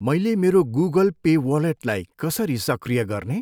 मैले मेरो Google Pay वालेटलाई कसरी सक्रिय गर्ने?